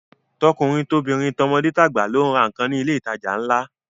Tọkùnrin tobìnrin, tọmọdé tàgbà ló ń ra nǹkan ní ilé ìtajà ńlá